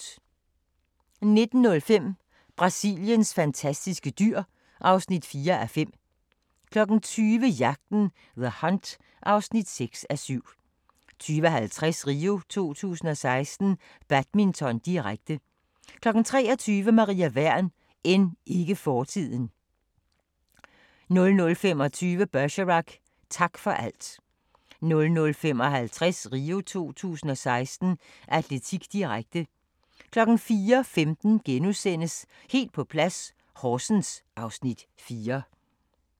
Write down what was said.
19:05: Brasiliens fantastiske dyr (4:5) 20:00: Jagten – The Hunt (6:7) 20:50: RIO 2016: Badminton, direkte 23:00: Maria Wern: End ikke fortiden 00:25: Bergerac: Tak for alt 00:55: RIO 2016: Atletik, direkte 04:15: Helt på plads - Horsens (Afs. 4)*